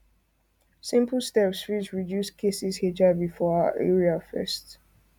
simple steps fit reduce cases hiv for our area fast